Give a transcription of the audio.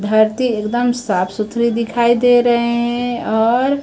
धरती एकदम साफ सुथरी दिखाई दे रहे हैं और--